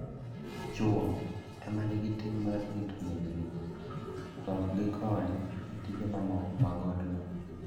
Chwo e ma nigi ting' mar rito min-gi, to ok gikony e tije mamoko mag odno.